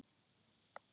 Safna kjarki.